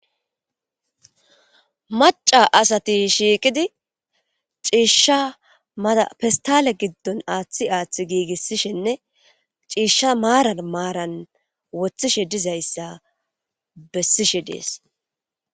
Maca asati shiiqidi ciishsha maapistale giddon aaththi aaththi giigissishinne ciishsha maaran maaran woththishe dizayssa bessishe dees.